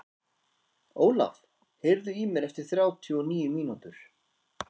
Ólaf, heyrðu í mér eftir þrjátíu og níu mínútur.